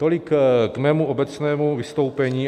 Tolik k mému obecnému vystoupení.